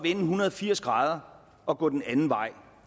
en hundrede og firs grader og gå den anden vej